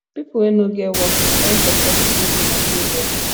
people wey no get work dey find for churches wey dey nigeria